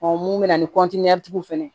mun bɛ na ni tigiw fɛ fana